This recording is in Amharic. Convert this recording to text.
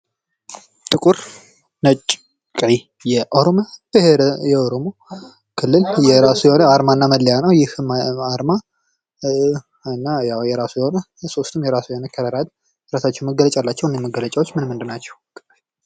ጥቁር፣ ነጭ፣ ቀይ የኦሮሞ ብሄር የኦሮሞ ክልል የራሱ የኦሮሞ ብሄር የኦሮሞ ክልል የራሱ የሆነ አርማ እና መለያ ነው። ይህ አርማ የራሱ የሆነ ከለር አላቸው መገለጫ አላቸው መገለጫዎችምን ምንድን ናቸው ?